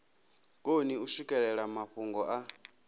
koni u swikelela mafhungo a